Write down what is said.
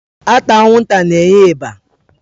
Ata anwụnta na-enye ịba.